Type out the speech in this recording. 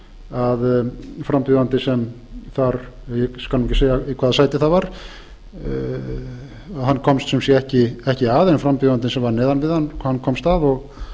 að frambjóðandi ég skal ekki segja í hvaða sæti það var komst ekki að en frambjóðandi sem var neðan við hann komst að